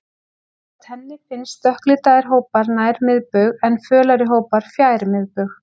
Samkvæmt henni finnast dökklitaðri hópar nær miðbaug, en fölari hópar fjær miðbaug.